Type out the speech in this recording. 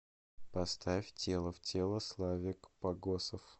поставь тело в тело славик погосов